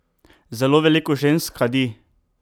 Zelo veliko žensk kadi!